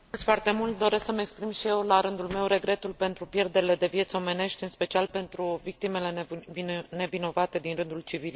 Doresc să mi exprim și eu, la rândul meu, regretul pentru pierderile de vieți omenești, în special pentru victimele nevinovate din rândul civililor.